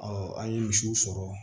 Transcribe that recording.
an ye misiw sɔrɔ